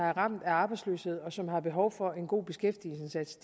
er ramt af arbejdsløshed og som har behov for en god beskæftigelsesindsats